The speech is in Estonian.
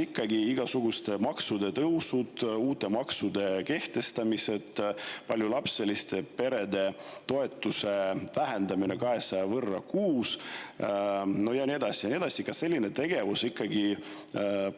Kas igasuguste maksude tõusud, uute maksude kehtestamised, paljulapseliste perede toetuse vähendamine 200 euro võrra kuus ja nii edasi ikkagi